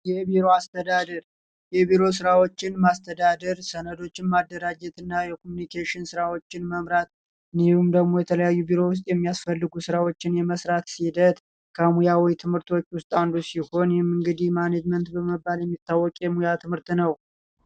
የቢሮ ስራ አስተዳደር የቢሮ ስራዎችን ማስተዳደር፣ ሰነዶችን ማደራጀት እና የኮሚኒኬሽን ስራዎችን መምራት እንዲሁም ደግሞ የተለያዩ ቢሮ ውስጥ የሚያስፈልጉ ስራዎችን የመስራት ሂደት ከሙያዊ ትምህርቶች ውስጥ አንዱ ሲሆን ይህም እንግዲህ ማኔጅመንት በመባል የሚታወቅ የሙያ ትምህርት ነው።